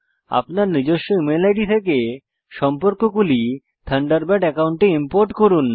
আপনার নিজস্ব email ID থেকে সম্পর্কগুলি থান্ডারবার্ড একাউন্টে ইম্পোর্ট করুন